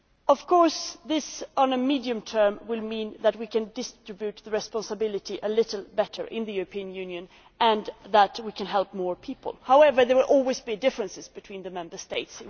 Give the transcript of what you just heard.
Of course, in the medium term this will mean that we can distribute the responsibility a little better in the European Union and that we can help more people. However, there will always be differences between the Member States.